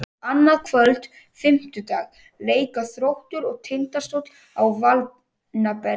Annað kvöld, fimmtudag, leika Þróttur og Tindastóll á Valbjarnarvelli.